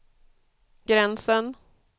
gränsen